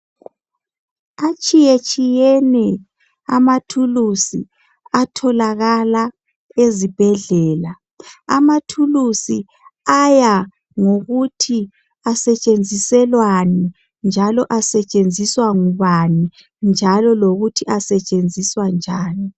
Atshiyetshiyene amathulusi atholakala ezibhedlela. Amathulusi aya ngokuthi asetshenziselwani njalo asetshenziswa ngubani njalo lokuthi asetshenziswa njani.